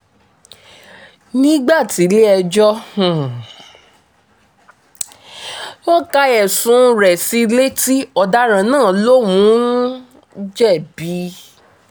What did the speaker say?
nígbà tílẹ̀-ẹjọ́ um ka ẹ̀sùn rẹ̀ sí i létí ọ̀daràn náà lòún um jẹ̀bi